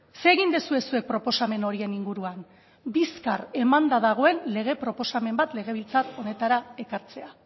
zer egin duzue zuek proposamen horien inguruan bizkar emanda dagoen lege proposamen bat legebiltzar honetara ekartzea